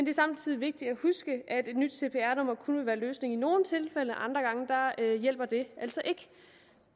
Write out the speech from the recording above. er samtidig vigtigt at huske at et nyt cpr nummer kun vil være løsningen i nogle tilfælde andre gange hjælper det altså ikke